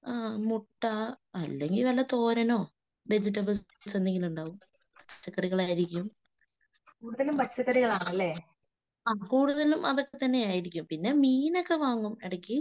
അഹ് മുട്ട അല്ലെങ്കിൽ വല്ല തോരനോ വെജിറ്റബിൾസ് എന്തെങ്കിലും ഉണ്ടാകും. പച്ചക്കറികളായിരിക്കും. കൂടുതലും അതൊക്കെത്തന്നെ ആയിരിക്കും. പിന്നെ മീനൊക്കെ വാങ്ങും ഇടയ്ക്ക്.